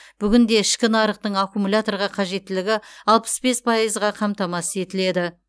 бүгінде ішкі нарықтың аккумуляторға қажеттілігі алпыс бес пайызға қамтамасыз етіледі